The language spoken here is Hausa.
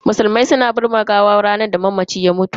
Musulmai suna binne gawa ne a ranar da mamaci ya mutu.